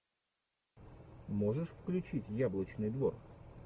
можешь включить яблочный двор